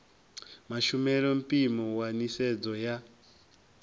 mashumele mpimo wa nisedzo ya